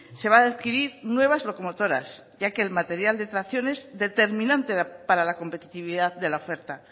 se va a adquirir nuevas locomotoras ya que el material de tracción es determinante para la competitividad de la oferta